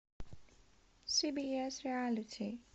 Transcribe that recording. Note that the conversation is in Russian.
си би эс реалити